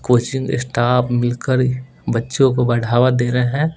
Coaching staff मिल कर बच्चों को बढ़ावा दे रहे है।